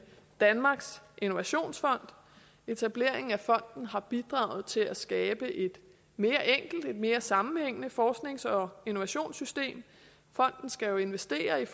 danmarks innovationsfond etableringen af fonden har bidraget til at skabe et mere enkelt og et mere sammenhængende forsknings og innovationssystem fonden skal jo investere i